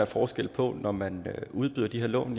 forskel når man udbyder de her lån